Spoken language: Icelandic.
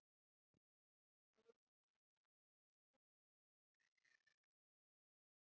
Ekkert jukk.